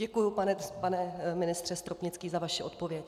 Děkuji, pane ministře Stropnický, za vaši odpověď.